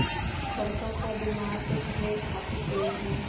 बड़का का दिमाग तो खैर काफी तेज है